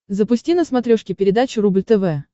запусти на смотрешке передачу рубль тв